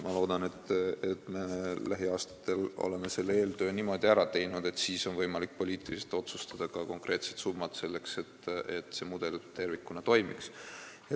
Ma loodan, et me lähiaastatel oleme selle eeltöö niimoodi ära teinud, et siis on võimalik poliitiliselt otsustada ka konkreetsed summad, selleks et see mudel tervikuna toimiks.